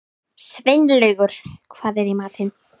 Sveinlaugur, hvað er í matinn?